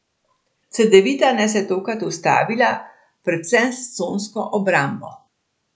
Cedevita nas je tokrat ustavila predvsem s consko obrambo.